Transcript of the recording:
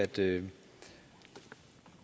det